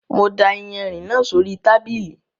Mo da ìyanrìn náà sóri tábìlì